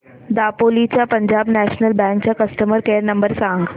दापोली च्या पंजाब नॅशनल बँक चा customer care number सांग